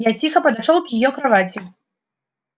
я тихо подошёл к её кровати